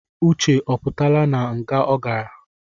Uche ọ pụtaala na nga ọ garạ?